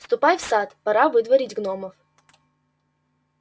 ступай в сад пора выдворить гномов